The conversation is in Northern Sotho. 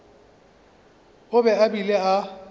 o be a bile a